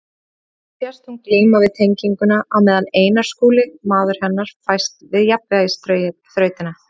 Hér sést hún glíma við teninginn á meðan Einar Skúli, maður hennar, fæst við jafnvægisþrautina.